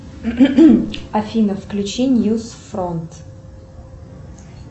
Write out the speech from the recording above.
афина включи ньюс фронт